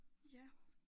Ja